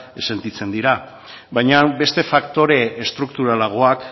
sentitzen dira baina beste faktore estrukturalagoak